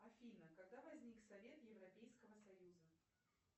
афина когда возник совет европейского союза